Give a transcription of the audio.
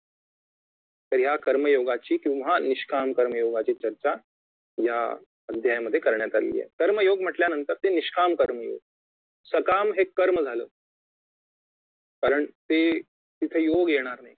तर कर्म योगाची किंवा निष्काम कर्म योगाची चर्चा या अध्यायामध्ये करण्यात आलेली आहे कर्म योग म्हटल्यानंतर निष्काम कर्म योग सकाम हे कर्म झालं कारण ते तिथे योग येणार नाही